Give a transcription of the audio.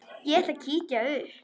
Ég ætla að kíkja upp